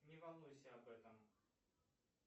не волнуйся об этом